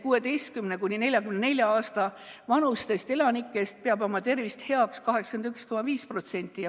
16–44 aasta vanustest elanikest peab oma tervist heaks 81,5%.